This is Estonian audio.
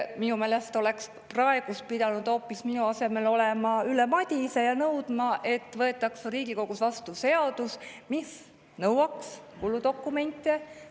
Minu meelest peaks praegu siin minu asemel olema hoopis Ülle Madise ja nõudma, et Riigikogu võtaks vastu seaduse, mis kuludokumentide.